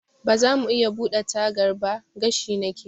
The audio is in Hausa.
Bazamu iya buɗe tagar ba? gashi nake.